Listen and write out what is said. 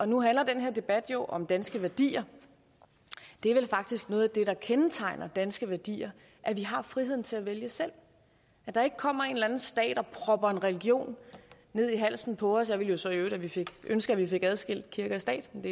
nu handler den her debat jo om danske værdier det er vel faktisk noget af det der kendetegner danske værdier at vi har friheden til at vælge selv at der ikke kommer en eller anden stat og propper en religion ned i halsen på os jeg ville så i øvrigt ønske at vi fik adskilt kirke og stat men